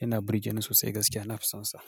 yana burge ni sosai gaskiya na fi sonsa.